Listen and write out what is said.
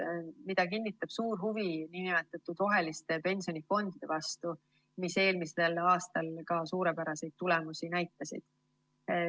Seda kinnitab suur huvi nn roheliste pensionifondide vastu, mis eelmisel aastal ka suurepäraseid tulemusi näitasid.